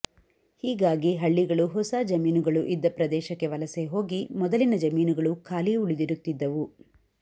ಹೀಗಾಗಿ ಹಳ್ಳಿಗಳು ಹೊಸ ಜಮೀನು ಗಳು ಇದ್ದ ಪ್ರದೇಶಕ್ಕೆ ವಲಸೆ ಹೋಗಿ ಮೊದಲಿನ ಜಮೀನುಗಳು ಖಾಲಿ ಉಳಿದಿರುತ್ತಿದ್ದವು